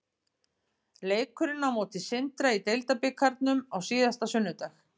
Leikurinn á móti Sindra í deildarbikarnum á síðasta sunnudag.